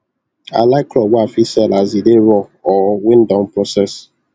i like crop wey i fit sell as e dey raw or wen don process